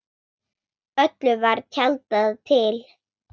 Öllu var tjaldað til.